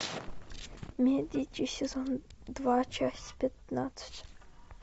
медичи сезон два часть пятнадцать